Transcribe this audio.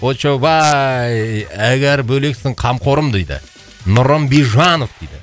очоубай әгар бөлексің қамқорым дейді нұрым бейжанов дейді